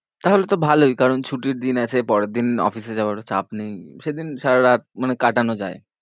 তাহলে তো ভালোই কারণ ছুটির দিন আছে, পরের দিন office এ যাওয়ারও চাপ নেই, সেদিন সারারাত মানে কাটানো যায়।